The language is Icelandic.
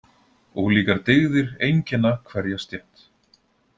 Ólíkar dygðir einkenna hverja stétt.